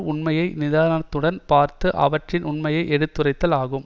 உண்மையை நிதானத்துடன் பார்த்து அவற்றின் உண்மையை எடுத்துரைத்தல் ஆகும்